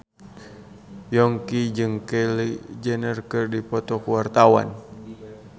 Yongki jeung Kylie Jenner keur dipoto ku wartawan